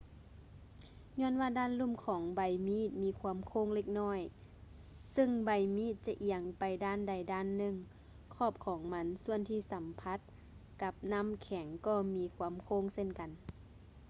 ຍ້ອນວ່າດ້ານລຸ່ມຂອງໃບມີດມີຄວາມໂຄ້ງເລັກນ້ອຍ ຊຶ່ງໃບມີດຈະອຽງໄປດ້ານໃດດ້ານໜຶ່ງ ຂອບຂອງມັນສ່ວນທີ່ສຳຜັດກັບນ້ຳແຂງກໍມີຄວາມໂຄ້ງເຊັ່ນກັນ